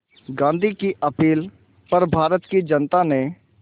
गांधी की अपील पर भारत की जनता ने